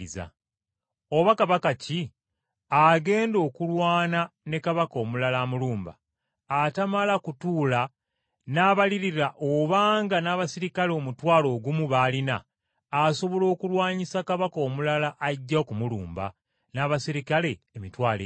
“Oba kabaka ki agenda okulwana ne kabaka omulala amulumba, tamala kutuula n’abalirira obanga n’abaserikale omutwalo ogumu b’alina, asobola okulwanyisa kabaka omulala ajja okumulumba n’abaserikale emitwalo ebiri?